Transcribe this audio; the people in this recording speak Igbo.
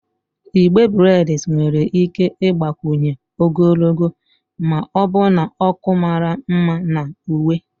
Igbe breds nwere ike ịgbakwunye ogologo na ọbụna ọkụ mara mma na uwe.